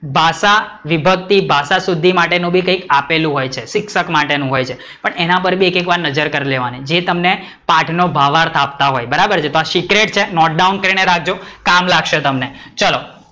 ભાષાવિભક્તિ ભાષાશુદ્ધિ માટેનું બી કંઈક આપેલું હોય છે શિક્ષક માટેનું હોય છે પણ એના પર બી એક એક વાર નજર કરી લેવાની જે તમને પાઠ નો ભાવાર્થ આપતા હોય બરાબર છે કે આ secret છે note down કરી ને રાખજો કામ લાગશે, ચલો